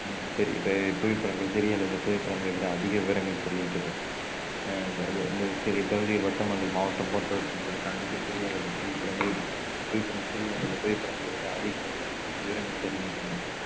உம் பெரிய பெ~ இப்புவிப்படங்கள் சிறிய அளவை புவிப்படங்களை விட அதிக விவரங்கள் தருகின்றது அஹ் சிறிய பகுதி வட்டம் அல்லது மாவட்டம் போன்றவற்றை காண்பிக்க சிறிய அளவை புவிப்படங்களை விட அதிக விவரங்கள் தருகின்றன.